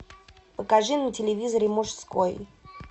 покажи на телевизоре мужской